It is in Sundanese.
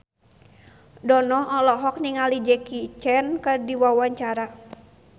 Dono olohok ningali Jackie Chan keur diwawancara